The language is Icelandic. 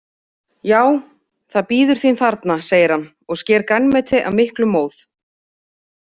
Já, það bíður þín þarna, segir hann og sker grænmeti af miklum móð.